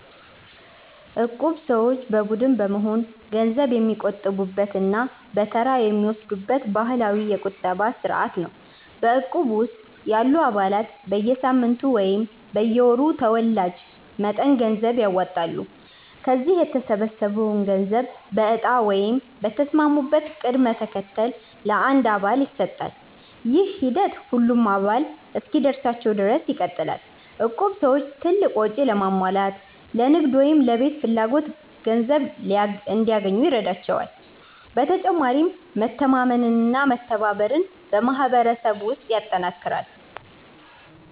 እቁብ ሰዎች በቡድን በመሆን ገንዘብ የሚቆጥቡበት እና በተራ የሚወስዱበት ባህላዊ የቁጠባ ስርዓት ነው። በእቁብ ውስጥ ያሉ አባላት በየሳምንቱ ወይም በየወሩ ተወላጅ መጠን ገንዘብ ያዋጣሉ። ከዚያ የተሰበሰበው ገንዘብ በእጣ ወይም በተስማሙበት ቅደም ተከተል ለአንድ አባል ይሰጣል። ይህ ሂደት ሁሉም አባላት እስኪደርሳቸው ድረስ ይቀጥላል። እቁብ ሰዎች ትልቅ ወጪ ለማሟላት፣ ለንግድ ወይም ለቤት ፍላጎት ገንዘብ እንዲያገኙ ይረዳቸዋል። በተጨማሪም መተማመንና መተባበርን በማህበረሰብ ውስጥ ያጠናክራል።